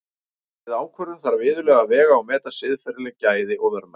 Við ákvörðun þarf iðulega að vega og meta siðferðileg gæði og verðmæti.